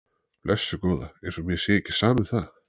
Blessuð góða. eins og mér sé ekki sama um það!